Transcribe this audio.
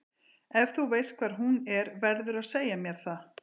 Ef þú veist hvar hún er verðurðu að segja mér það.